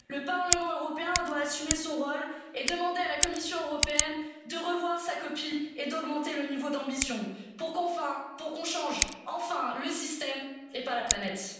Le Parlement européen doit assumer son rôle et demander à la Commission européenne de revoir sa copie et d'augmenter le niveau d'ambition pour qu'on change enfin le système et pas la planète.